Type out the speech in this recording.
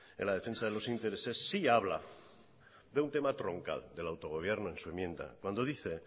en la defensa de los intereses sí habla de un tema troncal del autogobierno en su enmienda cuando dice